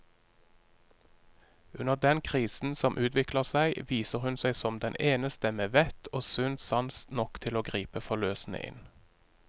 Under den krisen som utvikler seg, viser hun seg som den eneste med vett og sunn sans nok til å gripe forløsende inn.